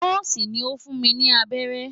Nọ́ọ̀sì ni ó fún mi ní abẹ́rẹ́.